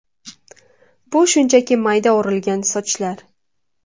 Bu shunchaki mayda o‘rilgan sochlar.